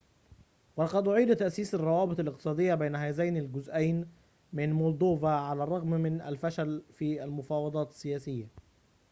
ولقد أعيد تأسيس الروابط الاقتصاديّة بين هذين الجزأين من مولدوفا على الرّغم من الفشل في المفاوضات السياسيّة